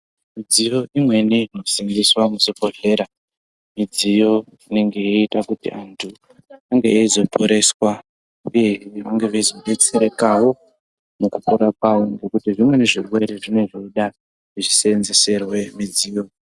Midziyo imweni inosimbiswa muzvibhedhlera Midziyo inenge ichiita kuti antu ange eizoporeswa uye veinge veizobetserekawo Nekupora kwawo nekuti zvirwere zvinenge zvichida kusenzeserwa mudziyo.